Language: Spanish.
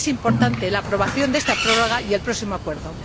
Son importantes la aprobación de esta prórroga y el próximo acuerdo.